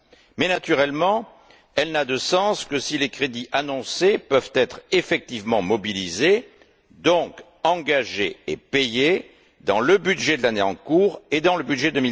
Mais, naturellement, elle n'a de sens que si les crédits annoncés peuvent être effectivement mobilisés, donc engagés et payés dans le budget de l'année en cours et dans le budget